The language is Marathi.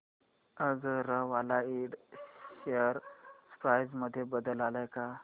अगरवाल इंड शेअर प्राइस मध्ये बदल आलाय का